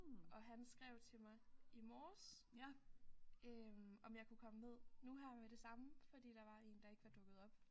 Og han skrev til mig i morges øh om jeg kunne komme ned nu her med det samme fordi der var en der ikke var dukket op